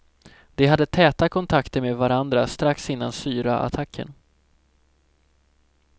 De hade täta kontakter med varandra strax innan syraattacken.